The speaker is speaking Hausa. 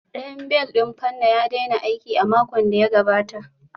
Ɗayan bel ɗin fanna ya daina aiki a makon da ya gabata